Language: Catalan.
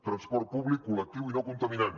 transport públic col·lectiu i no contaminant